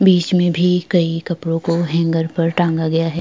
बिच में भी कही कपड़ो को हेंगर पर टांगा गया है।